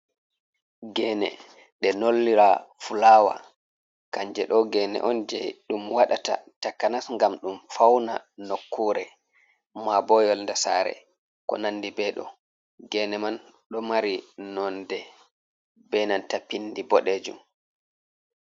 Geene ɗe nollira fulaawa. Kanje ɗo geene on je ɗum waɗata takanas ngam ɗum fauna nukkure, ma bo yolde saare, ko ko nandi be ɗo. Geene man ɗo mari nonde benanta pindi boɗejum.